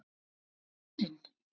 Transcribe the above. Borða dýrin?